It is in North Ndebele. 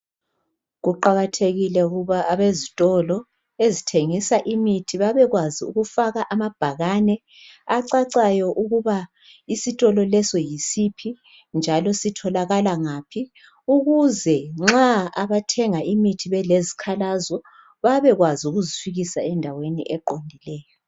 Kuqakathekile ukuba abezitolo ezithengisa imithi babekwazi ukufaka amabhakane, acacayo ukuba isitolo lesi yisiphi njalo sitholakala ngaphi. Ukuze nxa abathenga imithi belezikhalazo. Babekwazi ukuzifikisa endaweni eqondileyo.